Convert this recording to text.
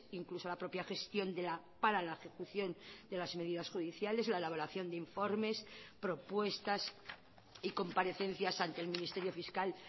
incluso la propia gestión para la ejecución de las medidas judiciales la elaboración de informes propuestas y comparecencias ante el ministerio fiscal